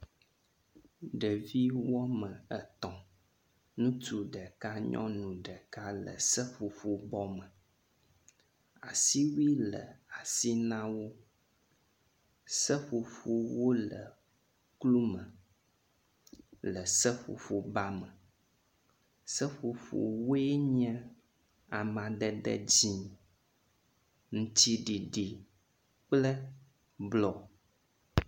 Ɖevi wɔme etɔ̃ ŋutsu ɖeka nyɔnu ɖeka le seƒoƒobɔ me. Asiwui le asi na wo. Seƒoƒowo le klu me le seƒoƒoba me. Seƒoƒowoe nye amadede dzi, ŋtsiɖiɖi kple blɔ.